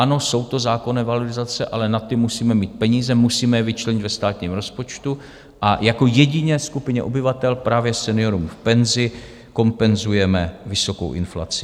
Ano, jsou to zákonné valorizace, ale na ty musíme mít peníze, musíme je vyčlenit ve státním rozpočtu a jako jediné skupině obyvatel právě seniorům v penzi kompenzujeme vysokou inflaci.